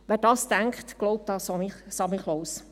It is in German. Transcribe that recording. Wer dies denkt, glaubt an den Weihnachtsmann.